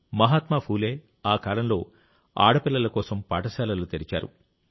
మహాత్మా ఫూలే ఆ కాలంలో ఆడపిల్లల కోసం పాఠశాలలు తెరిచారు